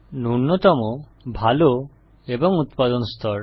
নূন্যতম ভাল এবং উত্পাদন স্তর